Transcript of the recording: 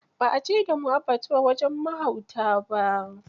Ba a je da mu abbatuwa wajen mahauta ba.